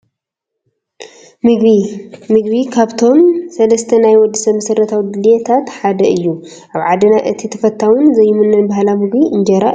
ምግቢ፡- ምግቢ ካብቶም 3 ናይ ወዲ ሰብ መሰረታዊ ድልየታት ሓደ እዩ፡፡ ኣብ ዓድና እቲ ተፈታውን ዘይምኖን ባህላዊ ምግቢ እንጀራ እዩ፡፡